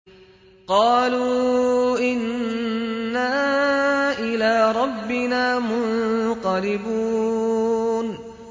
قَالُوا إِنَّا إِلَىٰ رَبِّنَا مُنقَلِبُونَ